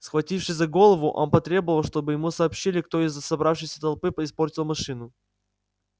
схватившись за голову он потребовал чтобы ему сообщили кто из собравшейся толпы испортил машину